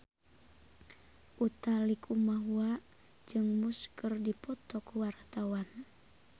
Utha Likumahua jeung Muse keur dipoto ku wartawan